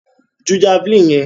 Ju javeline yẹn!